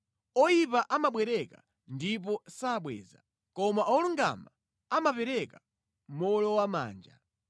Oyipa amabwereka ndipo sabweza koma olungama amapereka mowolowamanja.